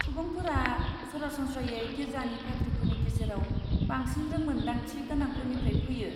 सुबुंफोरा सरासनस्रायै गिर्जानि पाद्रिफोरनि गेजेराव बांसिन रोंमोनदांथि गोनांफोरनिफ्राय फैयो।